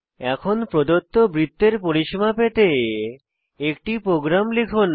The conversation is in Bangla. এখন প্রদত্ত বৃত্তের পরিসীমা পেতে একটি প্রোগ্রাম লিখুন